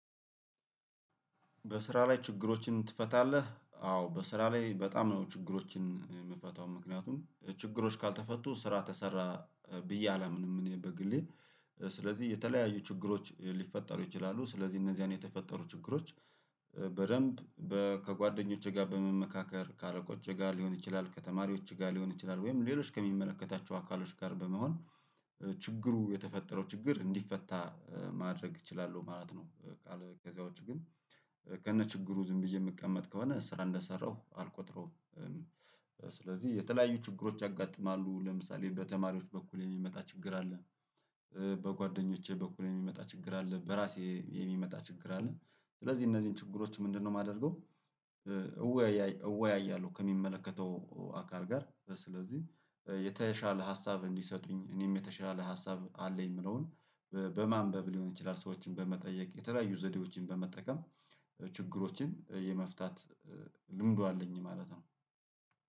በስራ ላይ ችግሮችን ትፈታለህ? አዎ በስራ ላይ በጣም ነው ችግሮችን የምፈታው። ምክንያቱም ችግሮች ካልተፈቱ ስራ ተሰራ ብዬ አላምንም። እኔ በግሌ ስለዚህ የተለያዩ ችግሮች ሊፈጠሩ ይችላሉ። ስለዚህ እነዚያን የተፈጠሩ ችግሮች በደንብ ከጓደኞቼ ጋር በመመካከር፣ ከአረቆቼ ጋር ሊሆን ይችላል፣ ከተማሪዎች ጋር ሊሆን ይችላል ወይም ሌሎች ከሚመለከታቸው አካሎች ጋር በመሆን ችግሩ የተፈጠረው ችግር እንዲፈታ ማድረግ እችላለሁ ማለት ነው። በቃ ከዛ ውጭ ግን ከነችግሩ ዝም ብዬ የምቀመጥ ከሆነ ስራ እንደሰራሁ አልቆጥረውም። ስለዚህ የተለያዩ ችግሮች ያጋጥማሉ። ለምሳሌ በተማሪዎች በኩል የሚመጣ ችግር አለ። በጓደኞቼ በኩል የሚመጣ ችግር አለ፣ በራሴ የሚመጣ ችግር አለ። ስለዚህ እነዚህን ችግሮች ምንድነው የማደርገው እወያያለሁ ከሚመለከተው አካል ጋር። ስለዚህ የተሻለ ሀሳብ እንዲሰጡኝ እኔም የተሻለ ሀሳብ አለኝ የምለውን በማንበብ ሊሆን ይችላል ሰዎችን በመጠየቅ የተለያዩ ዘዴዎችን በመጠቀም ችግሮችን የመፍታት ልምዱ አለኝ ማለት ነው።